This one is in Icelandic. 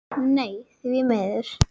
Nei því miður.